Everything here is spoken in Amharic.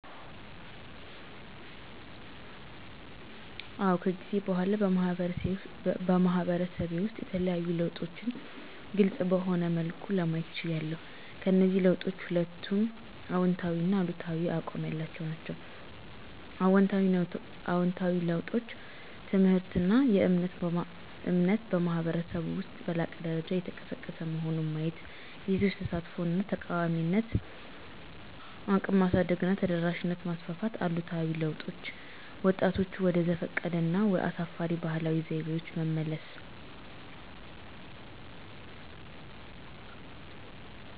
አዎ ከጊዜ በኋላ በማህበረሰቤ ውስጥ የተለዩ ለውጦችን ግልፅ በሆነ መልኩ ለማየት ችያለሁ። ከእነዚህ ለውጦች ሁለቱንም አዎንታዊና አሉታዊ አቋም ያላቸው ናቸው። አዎንታዊ ለውጦች: ትምህርትና እምነት በማኅበረሰብ ውስጥ በላቀ ደረጃ እየተቀሰቀሰ መሆን ማየት የሴቶች ተሳትፎ እና ተቃዋሚነት እቅም ማሳደግና ተደራሽነት ማስፋፋት አሉታዊ ለውጦች: ወጣቶችን ወደ ዘፈቀደ እና አሳፋሪ ባህላዊ ዘይቤዎች መመለስ።